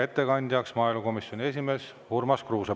Ettekandja on maaelukomisjoni esimees Urmas Kruuse.